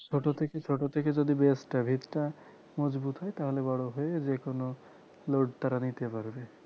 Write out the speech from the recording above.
ছোট থেকেই ছোট থেকেই যদি base টা ভিত টা মজবুত হয় তাহলে বড় হয়ে যেকোন load তারা নিতে পারবে